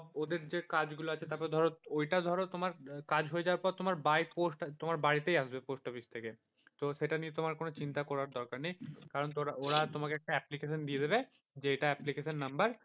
ওদের যে কাজগুলো আছে তারপরে ধরো ওইটা ধরো তোমার কাজ হয়ে যাওয়ার পর bye post তোমার বাড়িতেই আসবে post office থেকে তো সেইটা নিয়ে তোমার চিন্তা করার দরকার নেই, ওরা তোমাকে একটা application দিয়ে দেবে যে এইটা application number